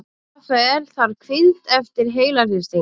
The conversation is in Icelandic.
Rafael þarf hvíld eftir heilahristing